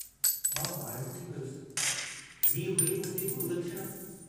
मां वाइड़ो थी वियुसि, हीउ हुई मुंहिंजी गुरू दक्षिणा!